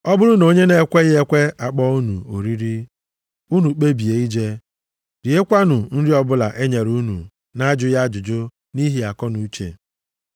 Ọ bụrụ na onye na-ekweghị ekwe akpọọ unu oriri, unu kpebie ije, riekwanụ nri ọbụla e nyere unu na-ajụghị ajụjụ nʼihi akọnuche.